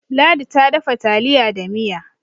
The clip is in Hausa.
ladi ta dafa taliya da Miya